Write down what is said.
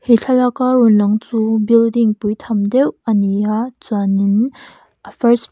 he thlalaka rawn lang chu building pui tham deuh ani a chuanin a first --